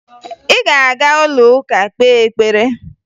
Ị ga-aga ụlọụka kpee ekpere!